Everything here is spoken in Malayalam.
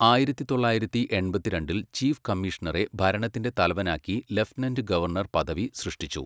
ആയിരത്തി തൊള്ളായിരത്തി എൺപത്തിരണ്ടിൽ ചീഫ് കമ്മീഷണറെ ഭരണത്തിന്റെ തലവനാക്കി ലഫ്റ്റനന്റ് ഗവർണർ പദവി സൃഷ്ടിച്ചു.